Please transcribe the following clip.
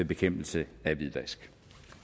bekæmpelse af hvidvask